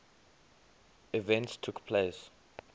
events took place